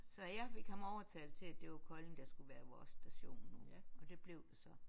Så jeg fik ham overtalt til at det var Kolding der skulle være vores station nu og det blev det så